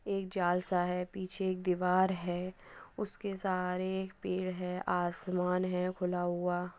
एक जाल सा है। पीछे एक दीवार है उसके सहारे एक पेड़ है आसमान है खुला हुआ।